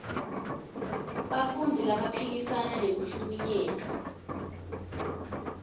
bantfu labaphikisana nekuhlukunyetwa